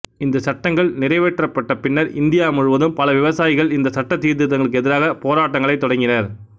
இந்தச் சட்டங்கள் நிறைவேற்றப்பட்ட பின்னர் இந்தியா முழுவதும் பல விவசாயிகள் இந்த சட்ட சீர்திருத்தங்களுக்கு எதிராக போராட்டங்களைத் தொடங்கினர்